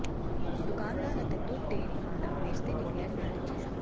ਦੁਕਾਨਦਾਰ ਅਤੇ ਦੁੱਧ ਡੇਅਰੀ ਮਾਲਕ ਵੇਚਦੇ ਨੇ ਗੈਰ ਮਿਆਰੀ ਚੀਜ਼ਾਂ